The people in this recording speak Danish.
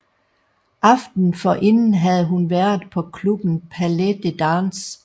Aftenen forinden havde hun været på klubben Palais de Dance